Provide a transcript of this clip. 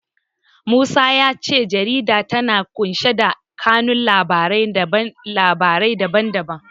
Musa ya ce jarida tana ƙunshe da kanun labarai na labarai da ban da ban.